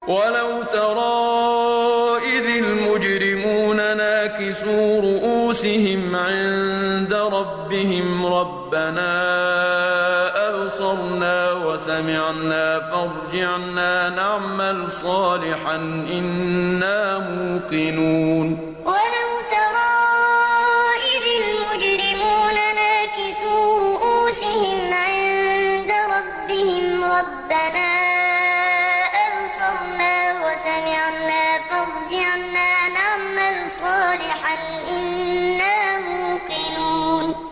وَلَوْ تَرَىٰ إِذِ الْمُجْرِمُونَ نَاكِسُو رُءُوسِهِمْ عِندَ رَبِّهِمْ رَبَّنَا أَبْصَرْنَا وَسَمِعْنَا فَارْجِعْنَا نَعْمَلْ صَالِحًا إِنَّا مُوقِنُونَ وَلَوْ تَرَىٰ إِذِ الْمُجْرِمُونَ نَاكِسُو رُءُوسِهِمْ عِندَ رَبِّهِمْ رَبَّنَا أَبْصَرْنَا وَسَمِعْنَا فَارْجِعْنَا نَعْمَلْ صَالِحًا إِنَّا مُوقِنُونَ